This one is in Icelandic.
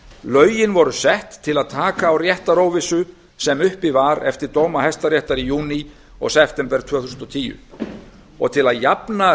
lögin voru sett til að taka á réttaróvissu sem uppi var eftir dóma hæstaréttar í júní og september tvö þúsund og tíu til að jafna